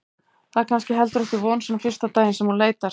Það er kannski heldur ekki von svona fyrsta daginn sem hún leitar.